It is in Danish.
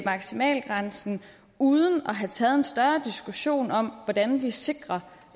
maksimalgrænsen uden at have taget en større diskussion om hvordan vi sikrer